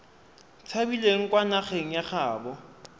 tshabileng kwa nageng ya gaabo